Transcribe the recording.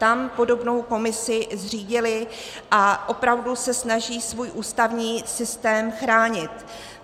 Tam podobnou komisi zřídili a opravdu se snaží svůj ústavní systém chránit.